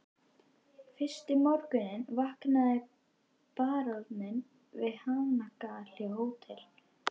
Fyrsta morguninn vaknaði baróninn við hanagal á Hótel